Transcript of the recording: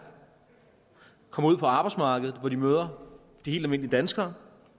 kommer ud på arbejdsmarkedet hvor de møder helt almindelige danskere